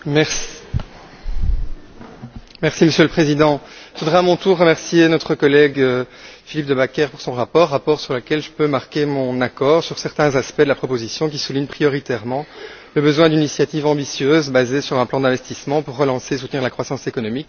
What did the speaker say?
Monsieur le Président, je voudrais à mon tour remercier notre collègue Philippe De Backer pour son rapport, sur lequel je peux marquer mon accord sur certains aspects de la proposition qui soulignent prioritairement le besoin d'initiatives ambitieuses basées sur un plan d'investissement pour relancer et soutenir la croissance économique et, avant toute chose, évidemment, la création d'emplois.